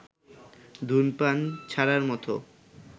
ধূমপান ছাড়ার মতো